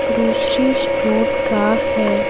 Grocery store का है।